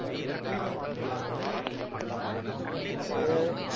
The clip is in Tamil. சரி.